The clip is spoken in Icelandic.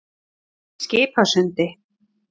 Skipasundi